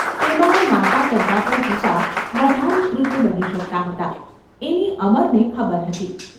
તેમાં યે માતા કરતાં પણ પિતા વધારે ક્રુદ્ધ બની શકતા હતા એની અમરને ખબર હતી.